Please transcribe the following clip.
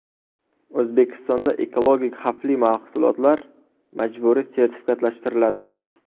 O‘zbekistonda ekologik xavfli mahsulotlar majburiy sertifikatlashtiriladi.